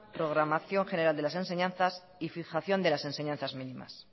programación general de las enseñanzas y fijación de las enseñanzas mínimas